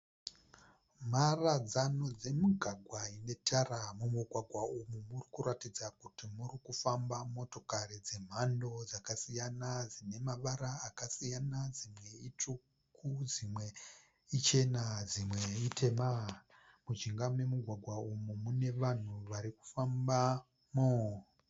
Mharadzano dzemigwagwa ine tara. Mumugwagwa umu murikuratidza kuti muri kufamba motokari dzemhando dzakasiyana dzine mavara akasiyana. Dzimwe itsvuku, dzimwe ichena dzimwe itema. Mujinga memugwagwa umu mune vanhu varikufambamo.